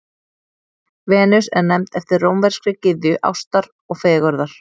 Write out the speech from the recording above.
Venus er nefnd eftir rómverskri gyðju ástar og fegurðar.